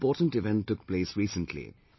A very important event took place recently